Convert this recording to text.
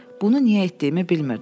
Bunu niyə etdiyimi bilmirdim.